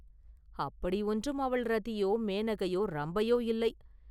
அப்படியொன்றும் அவள் ரதியோ, மேனகையோ, ரம்பையோ இல்லை!